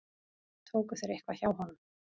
Tóku þeir eitthvað hjá honum?